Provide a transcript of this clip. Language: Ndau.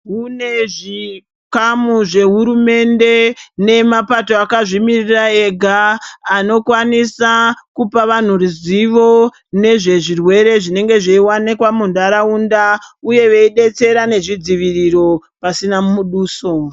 Kune zvikamu zvehurumende nemapato akazvimira ega, anokwanisa kupa vantu ruzivo nezvezvirwere zvinenge zveiwanikwa munharaunda uye veidetsera nezvidziviriro pasina muduso.